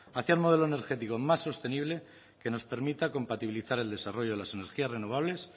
hacia un modelo energético más sostenible que nos permita compatibilizar el desarrollo de las energías renovables